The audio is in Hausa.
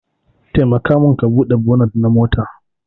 Taimaka min ka Bude bonit na mota.